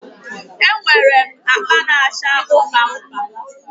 E nwere m akpa na-acha ụpa ụpa